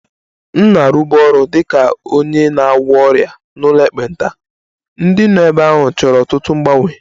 M na-arụbu ọrụ dị ka onye na-agwọ ọrịa n'ụlọ ekpenta, ndị nọ ebe ahụ chọrọ ọtụtụ mgbanwe